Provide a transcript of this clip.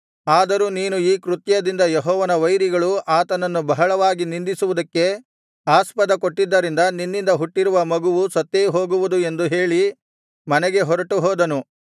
ಆದರೂ ನೀನು ಈ ಕೃತ್ಯದಿಂದ ಯೆಹೋವನ ವೈರಿಗಳು ಆತನನ್ನು ಬಹಳವಾಗಿ ನಿಂದಿಸುವುದಕ್ಕೆ ಆಸ್ಪದ ಕೊಟ್ಟಿದ್ದರಿಂದ ನಿನ್ನಿಂದ ಹುಟ್ಟಿರುವ ಮಗುವು ಸತ್ತೇ ಹೋಗುವುದು ಎಂದು ಹೇಳಿ ಮನೆಗೆ ಹೊರಟುಹೋದನು